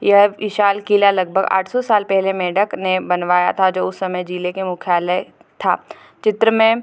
यह एक विशाल किला लगभग आठ सौ साल पहले मेंढक ने बनवाया था जो उस समय जिले के मुख्यालय था चित्र में --